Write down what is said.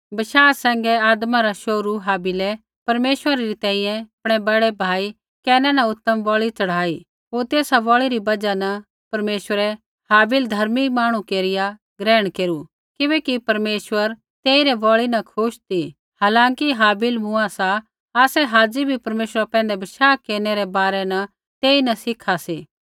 बशाह सैंघै आदमा रा शोहरू हाबिलै परमेश्वरै री तैंईंयैं आपणै बड़ै भाई कैना न उतम बलि च़ढ़ाई होर तेसा बलि री बजहा न परमेश्वरै हाबिल धर्मी मांहणु केरिया ग्रहण केरू किबैकि परमेश्वरै तेइरी बलि न खुश ती हालांकि हाबिल मूँआ सा आसै हाज़ी बी परमेश्वरा पैंधै बशाह केरनै रै बारै न तेइन सिखा सी